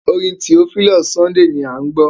Orin Theophilus Sunday à ń gbọ́.